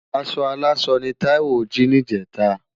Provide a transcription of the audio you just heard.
Aṣọ áláṣọ ni Taiwo ji nijétá